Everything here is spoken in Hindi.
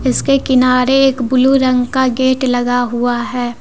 इसके किनारे एक ब्लू रंग का गेट लगा हुआ है।